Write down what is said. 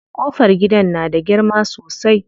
Ƙofar gidan na da girma sosai.